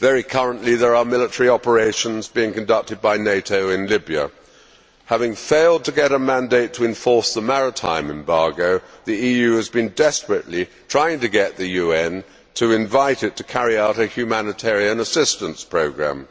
Currently, there are military operations being conducted by NATO in Libya. Having failed to get a mandate to enforce the maritime embargo, the EU has been desperately trying to get the UN to invite it to carry out a humanitarian assistance programme.